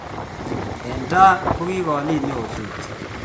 eng' tai ko kalin neotupche